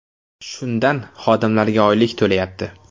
Shundan xodimlariga oylik to‘layapti.